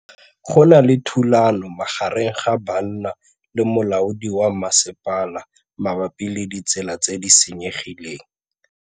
Go na le thulanô magareng ga banna le molaodi wa masepala mabapi le ditsela tse di senyegileng.